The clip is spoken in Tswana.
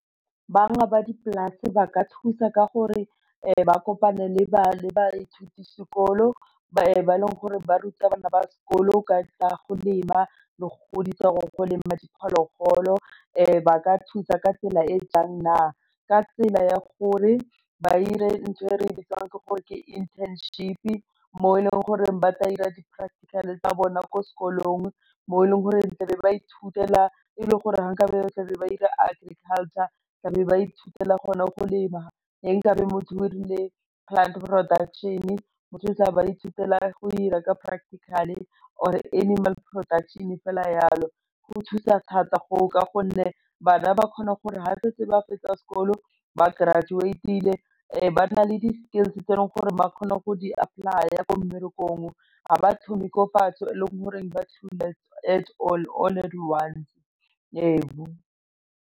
Ba dipolase ba ka thusa ka gore ba kopane le baithuti sekolo ba e leng gore baruta bana ba sekolo ka go lema le go godisa gore lema diphologolo ba ka thusa ka tsela e e jang na, ka tsela ya gore ba ire ntho e re e bitswang ke gore ke internship-e mo e leng gore ba tla dira di-practical tsa bona ko sekolong mo e leng gore tla be ba ithutela e le gore ga nka be ba tla be ba dira agriculture tla be ba ithutela gona go lema ga nka be motho o dirile plant production, motho o tla ba ithutela go dira ka practical or animal production fela jalo go thusa thata ka gonne bana ba kgona gore ga setse ba fetsa sekolo ba graduade-le ba nna le di-skills tse e leng gore ba kgone go di apply-a ko mmerekong, ga ba thome ko fatshe e leng goreng ba all all once ebu.